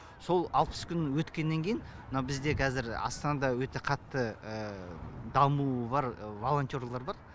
сол алпыс күн өткеннен кейін мына бізде қазір астанада өте қатты дамуы бар волонтерлар бар